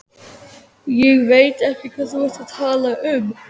Ég veit ekki hvað þú ert að tala um.